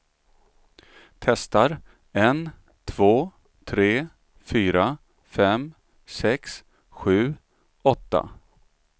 Testar en två tre fyra fem sex sju åtta.